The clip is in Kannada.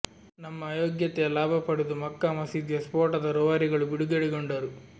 ನಮ್ಮ ಅಯೋಗ್ಯತೆಯ ಲಾಭ ಪಡೆದು ಮಕ್ಕಾ ಮಸೀದಿಯ ಸ್ಪೋಟದ ರುವಾರಿಗಳು ಬಿಡುಗಡೆಗೊಂಡರು